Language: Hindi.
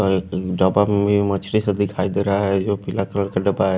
और एक मछली सा दिखाई दे रहा है जो कि लकड़ का डब्बा है।